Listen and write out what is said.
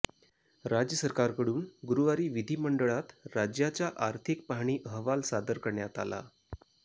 राज्य सरकारकडून गुरुवारी विधिमंडळात राज्याचा आर्थिक पाहणी अहवाल सादर करण्यात आला